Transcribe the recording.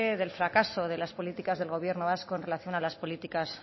del fracaso de las políticas del gobierno vasco en relación a las políticas